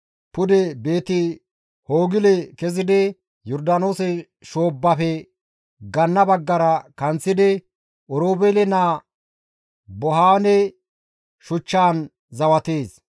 pude Beeti-Hoogile kezidi Yordaanoose shoobbafe ganna baggara kanththidi Oroobeele naa Bohaane shuchchaan zawatees.